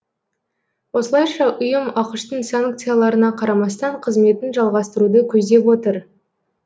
осылайша ұйым ақш тың санкцияларына қарамастан қызметін жалғастыруды көздеп отыр